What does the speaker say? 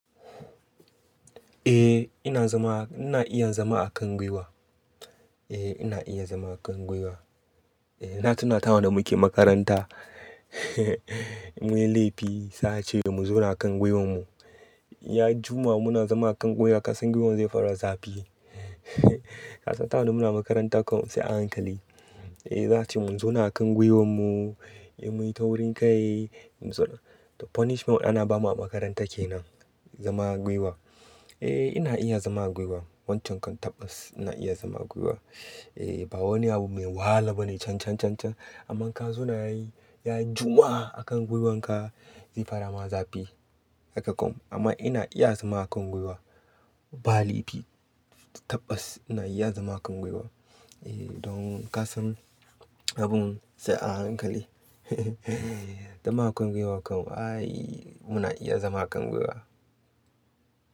Eh ina zama, ina iyan zama a kan gwiwa. Eh ina iya zama a kan gwiwa. Eh na tuna tare da muke makaranta in muyi laifi, sai ace mu zauna kan gwiwon mu. Ya jima mu na zama a kan gwiwa, ka san gwiwon zai fara zafi. Ka san tuni muna makaranta kom sai a hankali. Eh za ce mu zauna kan gwiwon mu, eh muyi ta wurin kai, mu zauna. The punishment ana bamu a makarantar kenan, zama a gwiwa. Eh ina iya zama a gwiwa. Wancan kan tabbas ina iya zama a gwiwa. Eh ba wani abu mai wahala bane can can can can. Amma ka zauna yayi ya jima a kan gwiwon ka, zai fara ma zafi haka kom. Amma ina iya zama a kan gwiwa. Ba laifi, tabbas ina iya zama a kan gwiwa. Eh don ka san abun sai a hankali. Zama a kan gwiwa kan wayi, muna iya zama a kan gwiwa.